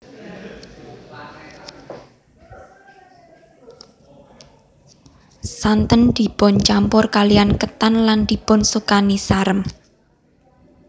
Santen dipun campur kaliyan ketan lan dipun sukani sarem